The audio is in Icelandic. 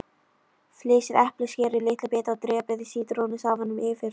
Flysjið eplið, skerið í litla bita og dreypið sítrónusafanum yfir.